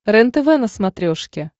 рентв на смотрешке